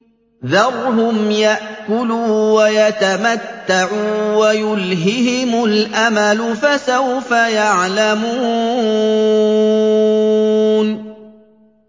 ذَرْهُمْ يَأْكُلُوا وَيَتَمَتَّعُوا وَيُلْهِهِمُ الْأَمَلُ ۖ فَسَوْفَ يَعْلَمُونَ